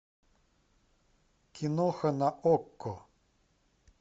киноха на окко